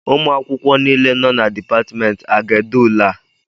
Ụmụ akwụkwọ niile nọ na Dipatmentị a ga-ede ule a?